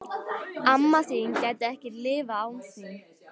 Amma þín gæti ekki lifað án þín.